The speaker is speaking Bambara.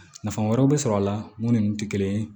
Nafa wɛrɛw bɛ sɔrɔ a la mun ni tɛ kelen ye